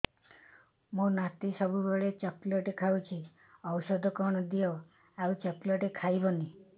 ମୋ ନାତି ସବୁବେଳେ ଚକଲେଟ ଖାଉଛି ଔଷଧ କଣ ଦିଅ ଆଉ ଚକଲେଟ ଖାଇବନି